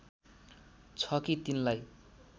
छ कि तिनलाई